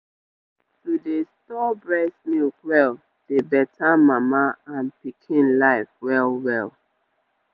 to dey store breast milk well dey beta mama and pikin life well well.